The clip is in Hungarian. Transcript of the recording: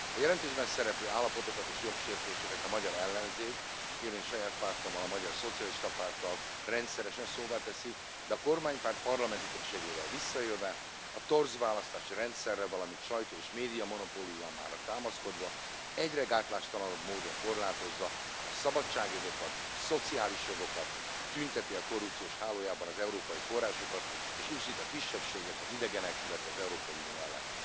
A jelentésben szereplő állapotokat és jogsértéseket a magyar ellenzék, én és saját pártommal, a Magyar Szocialista Párttal rendszeresen szóvá teszi, de a kormánypárt parlamenti többségével visszaélve, a torz választási rendszerre, valamint sajtó és médiamonopóliumára támaszkodva, egyre gátlástalanabb módon korlátozza a szabadságjogokat, a szociális jogokat, tünteti el korrupciós hálójában az európai forrásokat, és uszít a kisebbségek, az idegenek, illetve az Európai Unió ellen.